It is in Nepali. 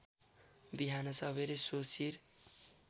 बिहान सबेरै सो शिर